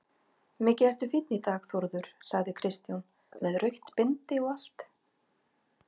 Mikið ertu fínn í dag Þórður, sagði Kristján, með rautt bindi og allt.